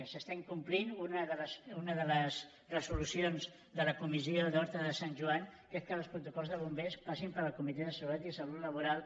s’està incomplint una de les resolucions de la comissió d’horta de sant joan que és que els protocols de bombers passin pel comitè de seguretat i salut laboral